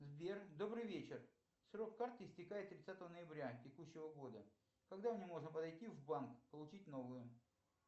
сбер добрый вечер срок карты истекает тридцатого ноября текущего года когда мне можно подойти в банк получить новую